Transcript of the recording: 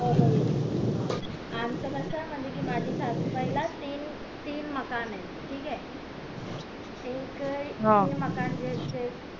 हो हो येतोय आमचं कसं म्हणजे माझ्या सासू बाई ला तीन तीन मकान ये ठीक ये एक